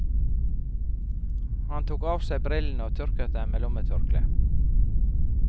Han tok av seg brillene og tørket dem med lommetørkleet.